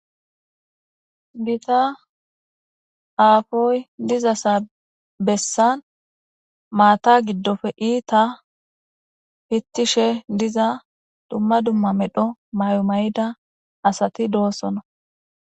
Gita aapoy diza bessan maata giddoppe iita pittishe diza dumma dumma medho mayo mayida asati dosona.